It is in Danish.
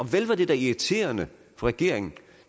vel var det da irriterende for regeringen